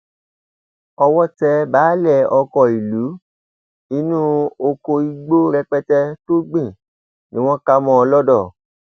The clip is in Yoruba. owó tẹ baálé ọkọ ìlú inú ọkọ igbó rẹpẹtẹ tó gbìn ni wọn ká a mọ lodò